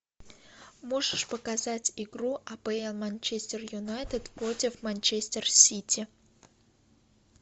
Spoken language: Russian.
можешь показать игру апл манчестер юнайтед против манчестер сити